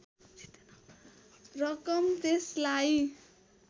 रकम त्यसलाई